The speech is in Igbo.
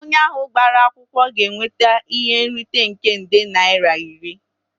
Onye ahụ gbara akwụkwọ ga-enweta ihe nrite nke nde naira iri